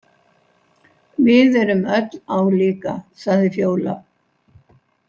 Við erum öll álíka, sagði Fjóla.